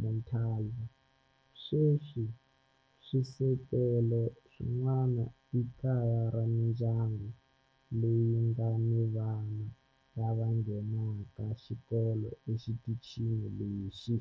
Montalva. Sweswi swisekelo swin'wana i kaya ra mindyangu leyi nga ni vana lava nghenaka xikolo exitichini lexi.